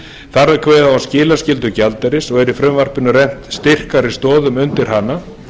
þar var kveðið á um skilaskyldu gjaldeyris og er í frumvarpinu rennt styrkari stoðum undir hana